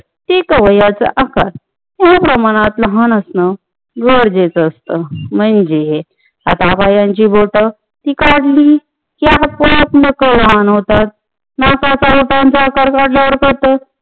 प्रत्येक अवयवाचा आकार थोडेप्रमाणात लहान असण गरजेच असत म्हणजे तर लहान बाळाची बोट ती काढली की आपोआप नख लहान होतात ना त्याचा आकार वाढला जातो